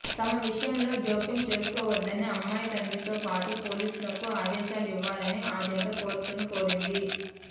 తమ విషయంలో జోక్యం చసుకోవద్దని అమ్మాయి తండ్రితో పాటు పోలీసులకు ఆదేశాలు ఇవ్వాలని ఆ జంట కోర్టును కోరింది